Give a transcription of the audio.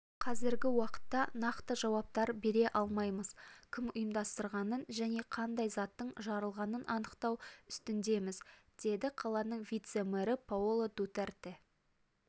қазіргі уақытта нақты жауаптар бере алмаймыз кім ұйымдастырғанын және қандай заттың жарылғанын анықтау үстіндеміз деді қаланың вице-мэрі паоло дутерте